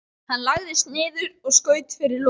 Hann lagðist niður og skaut fyrir loku.